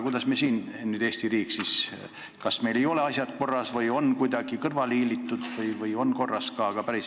Kas meil ei ole need asjad korras ja on kuidagi kõrvale hiilitud või siiski on kõik korras?